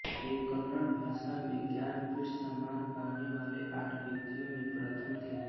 ये कन्नड़ भाषा में ज्ञानपीठ सम्मान पाने वाले आठ व्यक्तियों में प्रथम थे